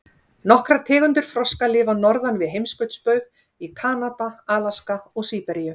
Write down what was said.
Nokkrar tegundir froska lifa norðan við heimskautsbaug, í Kanada, Alaska og Síberíu.